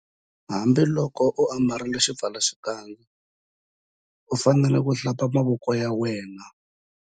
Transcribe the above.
Hambiloko u ambarile xipfalaxikandza u fanele ku- Hlamba mavoko ya